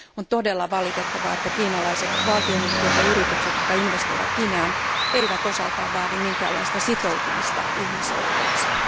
On todella valitettavaa, että kiinalaiset valtionyhtiöt ja yritykset, jotka investoivat Guineaan, eivät osaltaan vaadi minkäänlaista sitoutumista ihmisoikeuksiin.